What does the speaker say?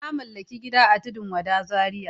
Na mallaki gida a Tudun wada Zaria.